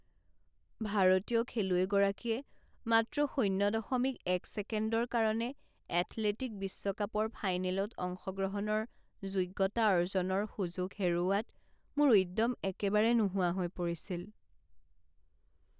ভাৰতীয় খেলুৱৈগৰাকীয়ে মাত্ৰ শূণ্য দশমিক এক ছেকেণ্ডৰ কাৰণে এথলেটিক বিশ্বকাপৰ ফাইনেলত অংশগ্ৰহণৰ যোগ্যতা অৰ্জনৰ সুযোগ হেৰুওৱাত মোৰ উদ্যম একেবাৰে নোহোৱা হৈ পৰিছিল।